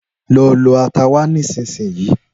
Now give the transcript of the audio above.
Lọ lọ ata wá nísinsìnyí